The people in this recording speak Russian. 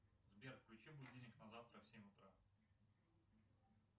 сбер включи будильник на завтра в семь утра